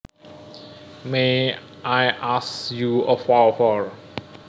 May I ask you a favour